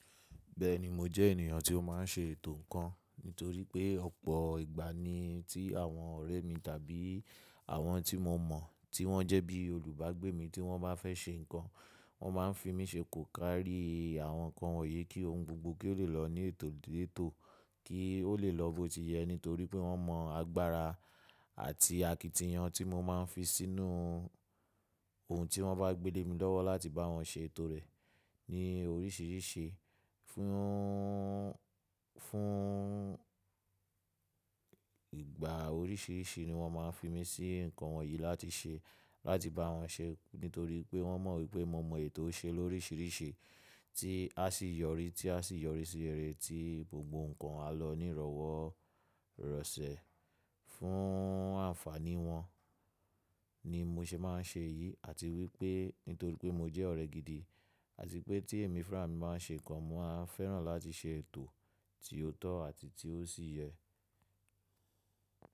Bẹ́ẹ̀ni mo jẹ́ ènìyàn tí ó máa ń ṣe ètò ńkan. Nítorí pé ọ̀pọ̀ ìgbà ni tí àwọn ọ̀rẹ́ mi tàbí àwọn tí mo mọ̀ tí wọ́n jẹ́ bí olùbágbé mi tí wọ́n bá fẹ́ ṣe nǹkan, wọ́n máa ń fi mí ṣe kòkàrí àwọn nǹkan wọ̀nyí kí ohun gbogbo kí ó lè lọ ní ètò létò kí ó lè lọ bó ti yẹ. Nítorí pé wọ́n mọ agbára àti àkìtìyan tí mo máa ń fi sínú oun tí wọ́n bá gbé lé mi lọ́wọ́ láti bá wọn ṣe ètò rẹ̀ ní oríṣìíríṣìí. Fún, fún ìgbà oríṣìíríṣìí ni wọ́n máa ń fi mí sí nǹkan wọ̀nyí láti ṣe, láti bá wọn ṣe. Nítorí pé wọ́n mọ̀ wípé mo ma ètò ṣe lóríṣìíríṣìí tí á sì yọrí, tí a sì yọrí sí réré tí gbogbo nǹkan á lọ ní ìrọ̀wọ́ rọ̀sẹ̀. Fún àǹfàní wọn ni mo ṣe máa ń ṣe èyí àti wípé nítorí pé mo jẹ́ ọ̀rẹ́ gidi àti pé tí èmi fúnra mi máa ń ṣe nǹkan, mo máa fẹ́ràn láti ṣe ètò tí ó tọ́ àti tí ó sì yẹ.